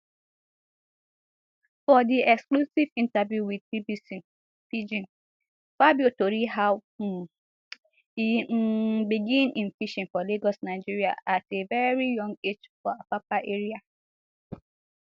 for di exclusive interview wit bbc pidgin fabio tori how um e um begin im fishing for lagos nigeria at a veri young age for apapa area